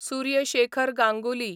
Surya Shekhar Ganguly